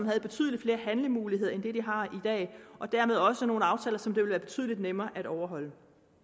have betydelig flere handlemuligheder end de har i dag og dermed også nogle aftaler som det ville være betydelig nemmere at overholde